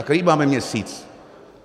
A který máme měsíc?